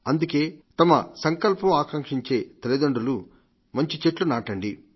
అందుకే తమ సంకల్పం ఆకాంక్షించే తల్లిదండ్రులు మంచి చెట్లు నాటండి